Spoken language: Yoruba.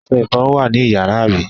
Ọṣẹ-ìfọrun wà ní ìyàrá, àbí?